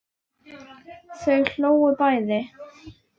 Og þau hlógu bæði.